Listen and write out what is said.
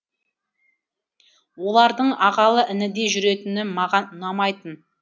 олардың ағалы інідей жүретіні маған ұнамайтын